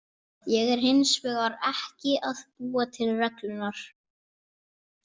Ég er hins vegar ekki að búa til reglurnar.